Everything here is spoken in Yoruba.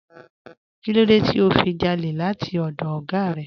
Kínlódé tí o fi jálè láti ọdọ̀ oga rẹ?